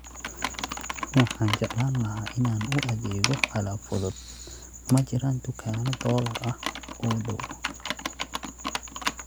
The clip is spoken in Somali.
Waxaan jeclaan lahaa inaan u adeego alaab fudud, ma jiraan dukaanno dollar ah oo dhow?